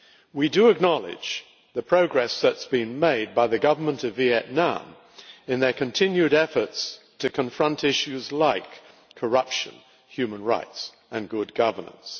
We do acknowledge the progress that has been made by the Government of Vietnam in its continued efforts to confront issues like corruption, human rights and good governance.